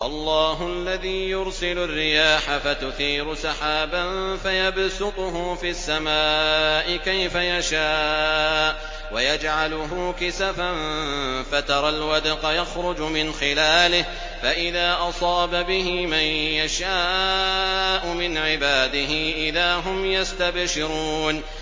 اللَّهُ الَّذِي يُرْسِلُ الرِّيَاحَ فَتُثِيرُ سَحَابًا فَيَبْسُطُهُ فِي السَّمَاءِ كَيْفَ يَشَاءُ وَيَجْعَلُهُ كِسَفًا فَتَرَى الْوَدْقَ يَخْرُجُ مِنْ خِلَالِهِ ۖ فَإِذَا أَصَابَ بِهِ مَن يَشَاءُ مِنْ عِبَادِهِ إِذَا هُمْ يَسْتَبْشِرُونَ